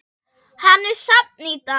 Hann er safn í dag.